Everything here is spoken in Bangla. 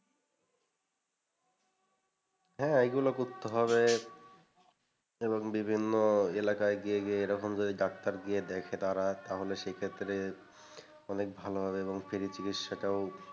হ্যাঁ এগুলো করতে হবে এবং বিভিন্ন এলাকায় গিয়ে গিয়ে এরকম যদি ডাক্তার গিয়ে দেখ তার সেক্ষেত্রে অনেক ভালো হবে এবং free চিকিৎসাটাও,